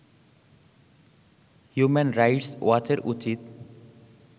human rights ওয়াচের উচিত